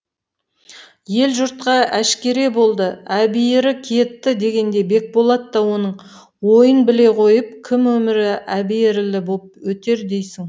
ел жұртқа әшкере болды әбиірі кетті дегенде бекболат та оның ойын біле қойып кім өмірі әбиірлі боп өтер дейсің